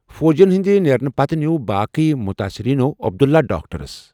فوجی ین ہِنٛدِ نیرنہٕ پتہٕ نیٛوٗو باقٕے مُتٲثِریٖنو عبداللہ ڈاکٹَرس ۔